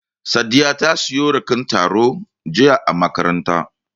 Sadiya ta sayi raken taro jiya a makaranta.